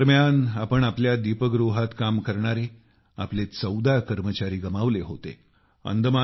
tsunami दरम्यान आपण आपल्या लाईटहाऊसमध्ये काम करणारे आपले 14 कर्मचारी गमावले होते